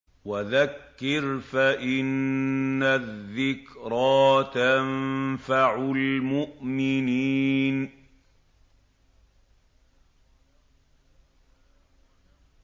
وَذَكِّرْ فَإِنَّ الذِّكْرَىٰ تَنفَعُ الْمُؤْمِنِينَ